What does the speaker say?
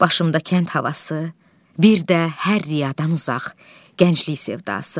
Başımda kənd havası, bir də hər riyadan uzaq gənclik sevdası.